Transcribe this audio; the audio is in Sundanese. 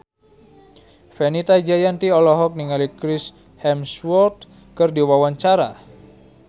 Fenita Jayanti olohok ningali Chris Hemsworth keur diwawancara